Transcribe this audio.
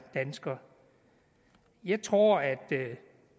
dansker jeg tror at